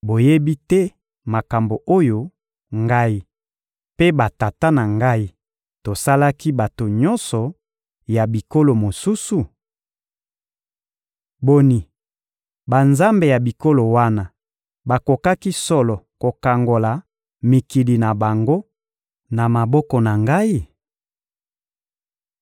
Boyebi te makambo oyo ngai mpe batata na ngai tosalaki bato nyonso ya bikolo mosusu? Boni, banzambe ya bikolo wana bakokaki solo kokangola mikili na bango na maboko na ngai?